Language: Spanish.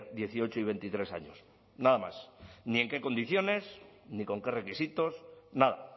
dieciocho y veintitrés años nada más ni en qué condiciones ni con qué requisitos nada